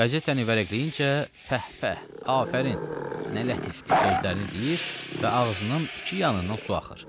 Qəzetəni vərəqləyincə pəhpəh, afərin, nə lətifdir sözlərini deyir və ağzının iki yanından su axır.